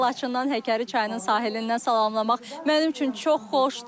Sizi Laçından Həkəri çayının sahilindən salamlamaq mənim üçün çox xoşdur.